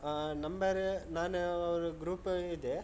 ಆಹ್ number ನಾನು ಅವ್ರು group ಇದೆ.